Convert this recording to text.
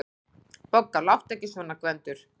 BOGGA: Láttu ekki svona, Gvendur.